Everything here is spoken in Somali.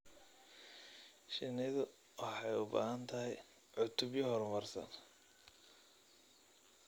Shinnidu waxay u baahan tahay cutubyo horumarsan.